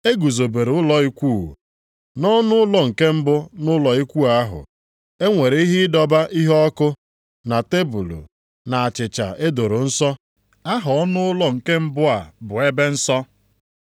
E guzobere ụlọ ikwu. Nʼọnụụlọ nke mbụ nʼụlọ ikwu ahụ, e nwere ihe ịdọba iheọkụ, na tebul, na achịcha e doro nsọ. Aha ọnụụlọ nke mbụ a bụ Ebe Nsọ.